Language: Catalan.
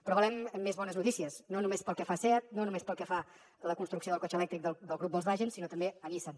però volem més bones notícies no només pel que fa a seat no només pel que fa a la construcció del cotxe elèctric del grup volkswagen sinó també a nissan